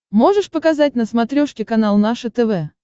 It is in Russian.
можешь показать на смотрешке канал наше тв